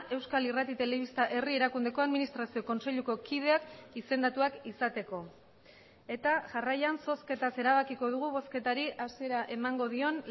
euskal irrati telebista herri erakundeko administrazio kontseiluko kideak izendatuak izateko eta jarraian zozketaz erabakiko dugu bozketari hasiera emango dion